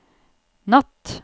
natt